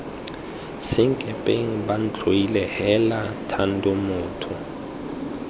senkepeng bantlhoile heela thando motho